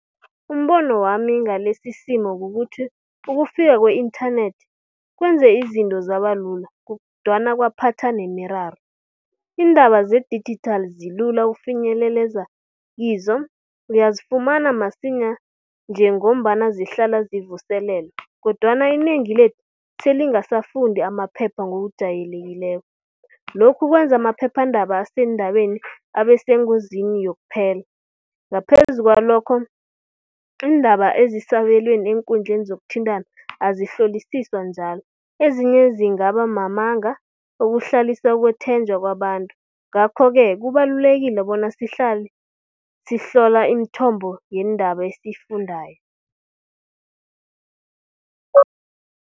Umbono wami ngalesi isimo kukuthi ukufika kwe-internet kwenze izinto zabalula kodwana kwaphatha nemiraro. Iindaba zedijithali zilula ukufinyelela kizo, uyazifumana msinya njengombana zihlala zivuselelwa. Kodwana inengi lethu selingasafundi amaphepha ngokujayelekileko. Lokhu kwenza amaphephandaba aseendabeni abe sengozini yokuphela, ngaphezu kwalokho iindaba ezisabelweni eenkundleni zokuthintana azihlolisiswa njalo, ezinye zingaba mamanga okuhlalisa ukwethenjwa kwabantu. Ngakho-ke kubalulekile bona sihlale sihlola imithombo yeendaba esiyifundayo.